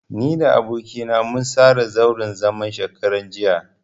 Ni da aboki na mun tsara zauren zaman shekaran jiya.